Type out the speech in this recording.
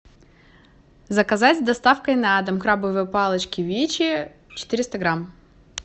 заказать с доставкой на дом крабовые палочки вичи четыреста грамм